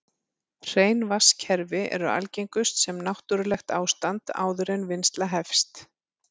Hrein vatnskerfi eru algengust sem náttúrlegt ástand áður en vinnsla hefst.